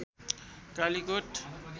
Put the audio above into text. Kalikot